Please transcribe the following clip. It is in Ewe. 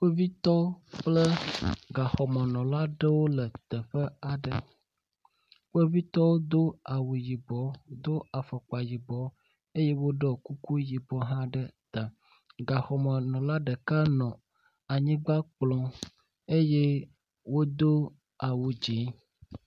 Kpovitɔ kple gaxɔmenɔla aɖewo le teƒe aɖe. kpovitwo do awu yibɔ, do afɔkpa yibɔ eye woɖɔ kuku yibɔ hã ɖe ta. Gaxɔmenɔla ɖeka nɔ anyigba kplɔm eye wodo awu dzi.